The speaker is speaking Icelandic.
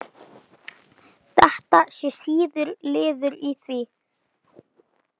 Þetta sé liður í því.